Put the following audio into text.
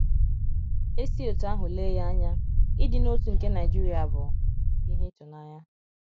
E si otú ahụ lee ya anya, ịdị n’otu nke Naijiria bụ ihe ịtụnanya.